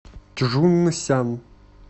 чжунсян